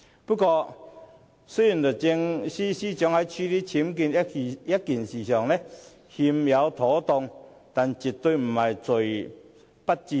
不過，雖然律政司司長在處理僭建一事上有欠妥當，但絕對是"罪不致死"。